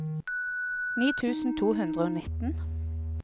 ni tusen to hundre og nitten